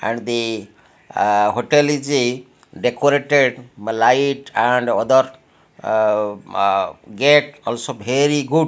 and the ah a hotel is a decorated light and other ah ah gate also very good.